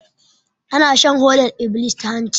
Ana shan hodar iblis ta hanci